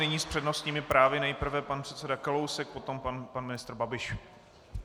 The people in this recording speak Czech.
Nyní s přednostními právy nejprve pan předseda Kalousek, potom pan ministr Babiš.